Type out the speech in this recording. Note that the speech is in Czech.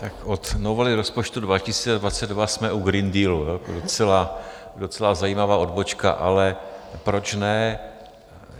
Tak od novely rozpočtu 2022 jsme u Green Dealu, docela zajímavá odbočka, ale proč ne.